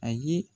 Ayi